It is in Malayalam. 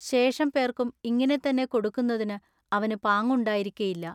ശേഷം പേൎക്കും ഇങ്ങിനെ തന്നെ കൊടുക്കുന്നതിനു അവനു പാങ്ങുണ്ടായിരിക്കയില്ല.